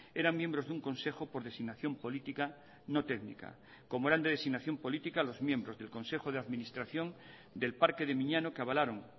eran miembros de un consejo por designación política no técnica como eran de designación política los miembros del consejo de administración del parque de miñano que avalaron